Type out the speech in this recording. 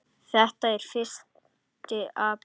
Þetta er fyrsti apríl.